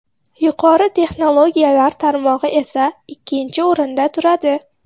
Yuqori texnologiyalar tarmog‘i esa ikkinchi o‘rinda turadi.